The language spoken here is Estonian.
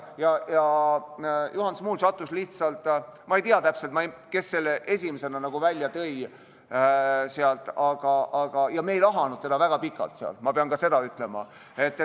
Juhan Smuul – ma ei mäleta täpselt, kes ta esimesena välja tõi, ja me ei lahanud tema küsimust väga pikalt, ma pean seda ütlema.